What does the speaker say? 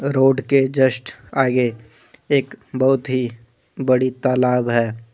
Road के just आगे एक बहुत ही बड़ी तलाब है।